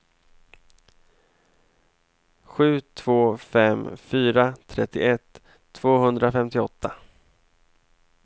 sju två fem fyra trettioett tvåhundrafemtioåtta